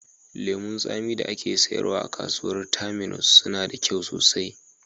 Lemu zaƙi da ake sayarwa a kasuwar Terminus suna da kyau sosai